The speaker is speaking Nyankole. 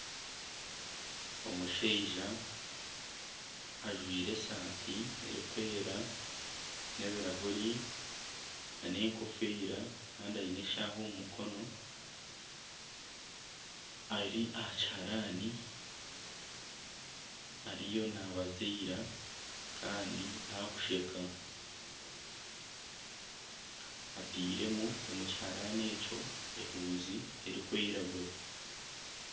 Omushaija ajwire esaati erikwera n'ebirahuri nana enkofiira kandi aine eshaha omu mukono ari aha kiharani ariyo nabaziira kandi akusheka atairemu omu kiharani ekyo ehuuzi erikwiragura.